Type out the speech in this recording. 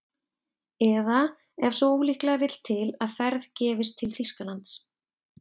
Eða ef svo ólíklega vill til að ferð gefist til Þýskalands